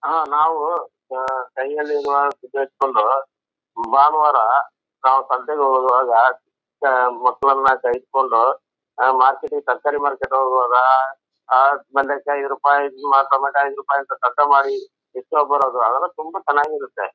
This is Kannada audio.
ನಾವು ಕೈಯೆಲ್ಲ ಎಲ್ಲ ಬಾನವರ ನಾವು ಸಂತೆಗೆ ಹೋಗೋದ್ರೊಳಗ ಮಕ್ಕಳು ಎಲ್ಲ ಸಹಿಸ್ಕೊಂಡು ಮಾರ್ಕೆಟ್ ಗೆ ತರಕಾರಿ ಮಾರ್ಕೆಟ್ ಒಳ್ಳಗ ಹೋಗೋದು ಆದ್ಮೇಲೆ ಇಸ್ಕೊಬರೋದು ಅದು ಎಲ್ಲ ತುಂಬಾ ಚನ್ನಾಗ್ ಇರುತ್ತೆ.